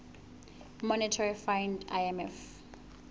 monetary fund imf